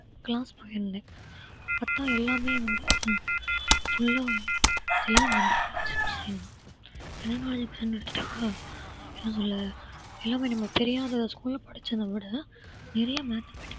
class போயிருந்தேன் அப்பதான் எல்லாமே வந்து full அ எல்லா general knowledge question தான் general knowledge ன்னு எடுத்துட்டா எல்லாமே நமக்கு தெரியாத ஒரு school ல படிச்சதை விட நிறைய mathematics